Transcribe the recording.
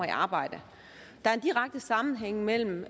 i arbejde der er en direkte sammenhæng mellem